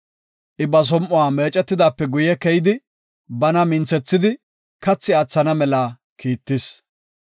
I ba som7uwa meecetidaape guye keyidi bana minthethidi, kathi aathana mela kiittis.